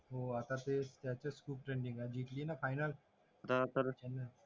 हो आता ते त्याचेच खूप ट्रेंडिंग आहे जिंतली ना फायनल तर